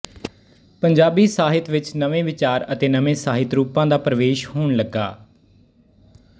ਪੰਜਾਬੀ ਸਾਹਿਤ ਵਿੱਚ ਨਵੇਂ ਵਿਚਾਰ ਅਤੇ ਨਵੇਂ ਸਾਹਿਤ ਰੂਪਾਂ ਦਾ ਪਰਵੇਸ਼ ਹੋਣ ਲੱਗਾ